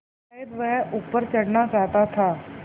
शायद वह ऊपर चढ़ना चाहता था